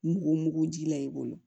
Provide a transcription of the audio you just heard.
Mugu mugu ji la i bolo